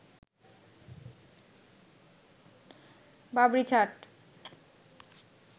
Babri ছাট